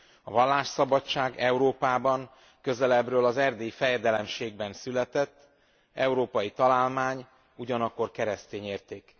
A vallásszabadság Európában közelebbről az Erdélyi Fejedelemségben született, európai találmány, ugyanakkor keresztény érték.